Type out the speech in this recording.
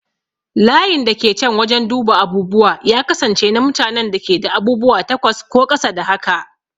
Layin da ke can wajen duba abubuwa ya kasance na mutanen da ke da abubuwa takwas ko ƙasa da haka.